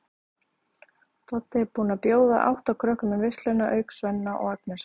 Doddi er búinn að bjóða átta krökkum í veisluna auk Svenna og Agnesar.